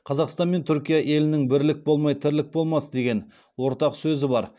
қазақстан мен түркия елінің бірлік болмай тірлік болмас деген ортақ сөзі бар